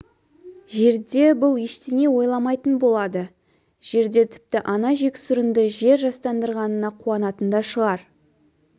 жерде бұл ештеңе ойламайтын болады жерде тіпті ана жексұрынды жер жастандырғанына қуанатын да шығар